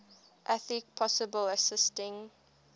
athlete possibly assisting